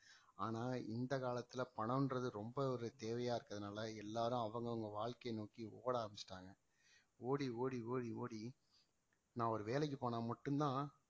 ஆனா இந்த காலத்துல பணம்ன்றது ரொம்ப ஒரு தேவையா இருக்கிறதுனால எல்லாரும் அவங்கவங்க வாழ்க்கைய நோக்கி ஓட ஆரம்பிச்சுட்டாங்க ஓடி ஓடி ஓடி ஓடி நான் ஒரு வேலைக்கு போனா மட்டும்தான்